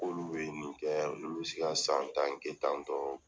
K'olu bɛ nin kɛ, olu bi se ka san tan kɛ tan tɔn